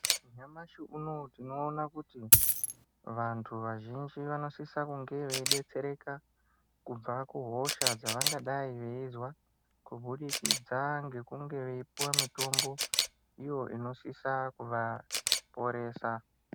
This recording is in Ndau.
Nyamashi unowu tinoona kuti vantu vazhinji, vanosisa kunge veyi detsereka ,kubva kuhosha dzavangadayi veyizwa, kubudikidza ngekunge veyipuwa mitombo iyo inosisa kuvaponesa.